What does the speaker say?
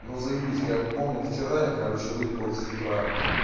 ну заебись как помню вчера я короче выпил с утра